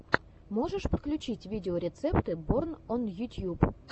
можешь включить видеорецепты борн он ютьюб